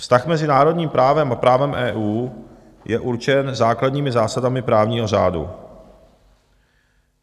"Vztah mezi národním právem a právem EU je určen základními zásadami právního řádu.